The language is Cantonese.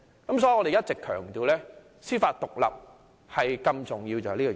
因此，我們一直強調司法獨立的重要性。